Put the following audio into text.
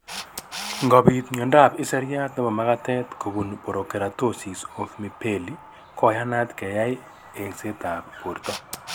Ngobit miondop iseriat nebo magatet kobun porokeratosis of mibelli koyanat keyai eng'setab borto